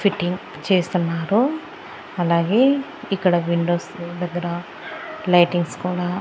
fitting చేస్తున్నారు అలాగే ఇక్కడ విండోస్ దగ్గర లైటింగ్స్ కూడా--